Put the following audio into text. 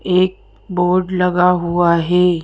एक बोर्ड लगा हुआ है।